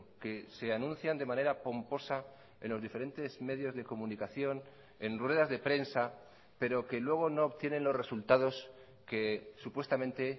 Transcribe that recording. que se anuncian de manera pomposa en los diferentes medios de comunicación en ruedas de prensa pero que luego no obtienen los resultados que supuestamente